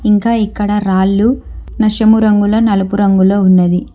ఇంకా ఇక్కడ రాళ్లు నషమురంగుల నలుపు రంగులో ఉన్నది ఇ--